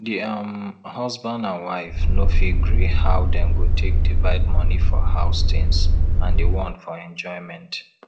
di um husband and wife no fit gree how dem go take divide money for house tins and di one for enjoyment